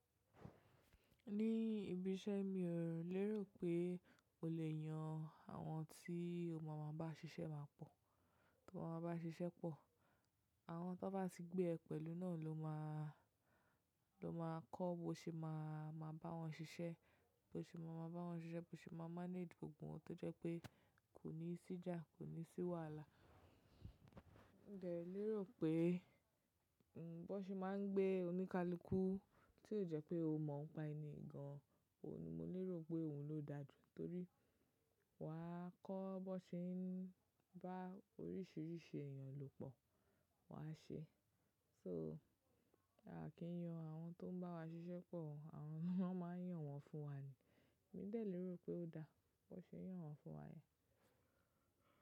Ní ibi iṣẹ́ mi, òun lérò pé o lè yan àwọn tí o mọ̀ máa bá ṣiṣẹ́ máa pọ̀. Tó o mọ̀ máa bá ṣiṣẹ́ pọ̀, àwọn tó bá ti gbé ẹ pẹ̀lú náà ló máa, ló máa kọ́ bo ṣe máa, máa bá wọn ṣiṣẹ́, bó ṣe máa mọ̀ bá wọn ṣiṣẹ́, bó ṣe máa manage gbogbo ohun tó jẹ́ pé kò ní sí ìjà, kò ní sí wàhálà. Ǹ dẹ̀ lérò pé, ǹ bo ṣe máa ń gbé oníkálukú, tí ó jẹ́ pé o mọ̀ ń pa ẹni gan, òun ni mo lérò pé òun ló da jù torí wà á kọ́ bó ṣe ń bá oríṣiríṣi èyàn lò pọ̀ wà á ṣe. So, a kì í yan àwọn tó ń bá wa ṣiṣẹ́ pọ̀, àwọn ló máa ń yàn wọ́n fún wa ni. Mi dè lérò pé ó da bó ṣe yàn wọ́n fún wa yẹn.